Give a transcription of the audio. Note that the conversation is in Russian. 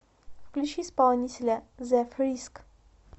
включи исполнителя зе фриск